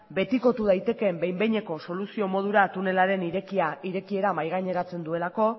betikotu daitekeen behin behineko soluzio modura tunelaren irekiera mahai gaineratzen duelako